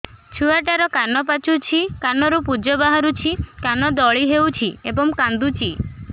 ଛୁଆ ଟା ର କାନ ପାଚୁଛି କାନରୁ ପୂଜ ବାହାରୁଛି କାନ ଦଳି ହେଉଛି ଏବଂ କାନ୍ଦୁଚି